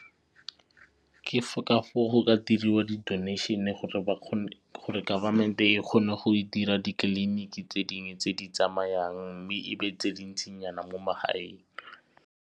Ke ka foo go ka diriwa di-donation-e gore gore government e kgone go dira di-clinic tse dingwe tse di tsamayang mme e be tse dintsinyana mo magaeng.